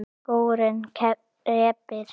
Skórinn kreppir